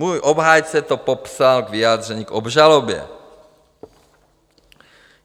Můj obhájce to popsal ve vyjádření k obžalobě.